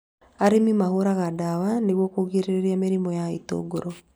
Arĩmi mahũraga ndawa nĩguo kũgirĩrĩria mĩrimũ ya itũngũrũ